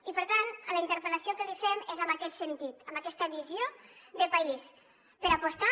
i per tant la interpel·lació que li fem és en aquest sentit amb aquesta visió de país per apostar